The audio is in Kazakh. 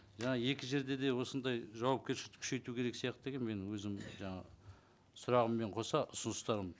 жаңа екі жерде де осындай жауапкершілікті күшейту керек сияқты деген менің өзімнің жаңағы сұрағыммен қоса ұсыныстарым